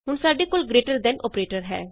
ਹੁਣ ਸਾਡੇ ਕੋਲ ਗਰੇਟਰ ਦੇਨ ਅੋਪਰੇਟਰ ਹੈ